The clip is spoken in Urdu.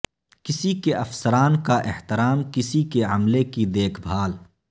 کسی کے افسران کا احترام کسی کے عملے کی دیکھ بھال